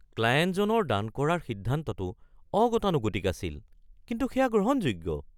ক্লায়েণ্টজনৰ দান কৰাৰ সিদ্ধান্তটো অগতানুগতিক আছিল, কিন্তু সেয়া গ্ৰহণযোগ্য।